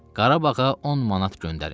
Qarabağa 10 manat göndərin.